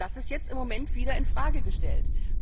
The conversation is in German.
Das ist jetzt im Moment wieder in Frage gestellt.